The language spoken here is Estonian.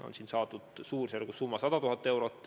On saadud summa suurusjärgus 100 000 eurot.